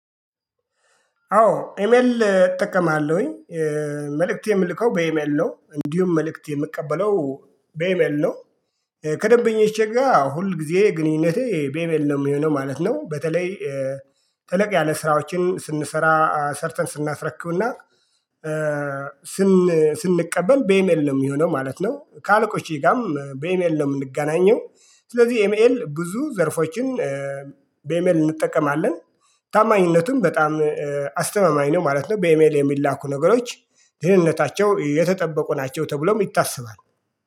አዎ ኢሜል እጠቀማለሁኝ መልእክት የምልከው በኢሜል ነው እንዲሁም መልእክት የምቀበለው በኢሜል ነው። ከደንበኞቼ ጋር ሁል ጊዜ ግንኙነቴ በኢሜል ነው የሚሆነው ማለት ነው። በተለይ ተለቅ ያለ ስራዎችን ስንሰራ ሰርተን ስናስረክብና ስንቀበል በኤሜል ነው የሚሆነው ማለት ነው። ከአለቆቼ ጋርም በኢሜል ነው የምንገናኘው። ስለዚህ ኢሜል ብዙ ዘርፎችን በኤሜል እንጠቀማለን። ታማኝነቱን በጣም አስተማማኝ ነው ማለት ነው። በኢሜል የሚላኩ ነገሮች ደህንነታቸው የተጠበቁ ናቸው ተብሎም ይታሰባል